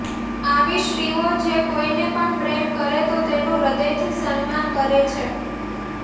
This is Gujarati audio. આવી સ્ત્રીઓ જે કોઈને પણ પ્રેમ કરે તો તેનું હૃદયથી સન્માન કરે છે